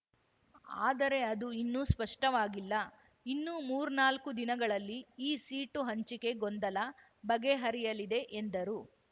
ಆದರೆ ಅದು ಇನ್ನು ಸ್ಪಷ್ಟವಾಗಿಲ್ಲ ಇನ್ನು ಮೂರ್ನಾಲ್ಕು ದಿನಗಳಲ್ಲಿ ಈ ಸೀಟು ಹಂಚಿಕೆ ಗೊಂದಲ ಬಗೆಹರಿಯಲಿದೆ ಎಂದರು